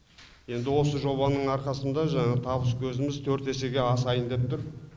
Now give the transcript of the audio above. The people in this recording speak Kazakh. енді осы жобаның арқасында жаңағы табыс көзіміз төрт есеге асайын деп тұр